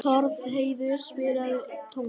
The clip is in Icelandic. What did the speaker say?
Torfheiður, spilaðu tónlist.